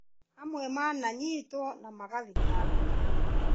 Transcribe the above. Amwe nĩ mananyitwo na magathitangwo